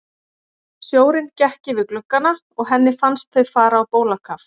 Sjórinn gekk yfir gluggana og henni fannst þau fara á bólakaf.